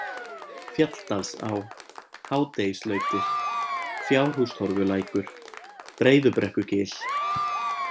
Fjalldalsá, Hádegislautir, Fjárhústorfulækur, Breiðubrekkugil